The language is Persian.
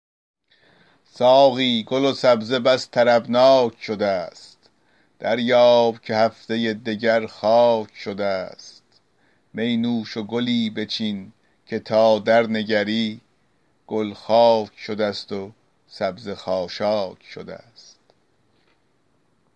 ساقی گل و سبزه بس طربناک شده ست دریاب که هفته دگر خاک شده ست می نوش و گلی بچین که تا درنگری گل خاک شده ست و سبزه خاشاک شده ست